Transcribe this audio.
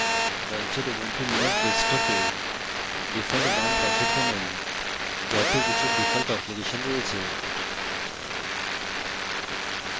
launcher ubuntu linux ডেস্কটপে default বাম পাশের panel